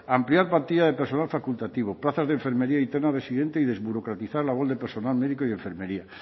ampliar partida de personal facultativo plazas de enfermería interna residente y desburocratizar labor de personal médico y enfermería